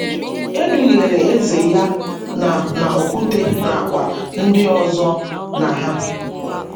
Edughere Eze ya na na Okwute na kwa ndi ọzo na hà